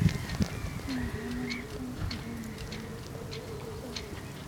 Tinye komonutik nganuk en bortab pkosobe.